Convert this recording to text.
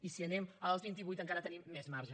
i si anem als vint i vuit encara tenim més marge